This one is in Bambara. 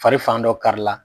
Fa fan dɔ kari la